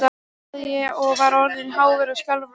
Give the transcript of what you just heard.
sagði ég, og var orðinn hávær og skjálfraddaður.